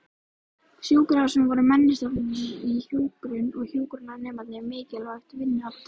Sjúkrahúsin voru menntastofnanir í hjúkrun og hjúkrunarnemarnir mikilvægt vinnuafl þeirra.